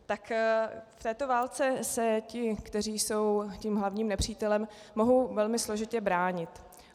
Tak v této válce se ti, kteří jsou tím hlavním nepřítelem, mohou velmi složitě bránit.